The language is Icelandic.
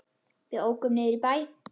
Við ókum niður í bæ.